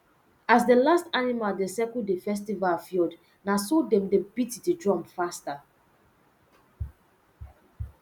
as the last animal dey circle the festival field na so dem dey beat the drum faster